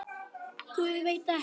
Guð, veit ekki.